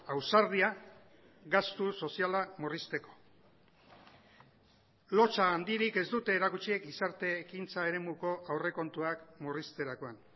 ausardia gastu soziala murrizteko lotsa handirik ez dute erakutsi gizarte ekintza eremuko aurrekontuak murrizterakoan